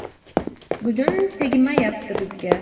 Bugun tegmayapti bizga.